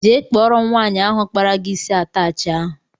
Jee kpọrọ m nwaanyị ahụ kpara gị isi atachi ahụ!!!!